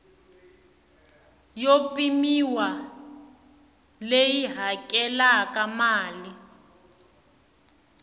yo pimiwa leyi hakelaka mali